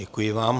Děkuji vám.